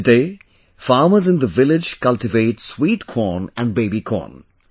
Today farmers in the village cultivate sweet corn and baby corn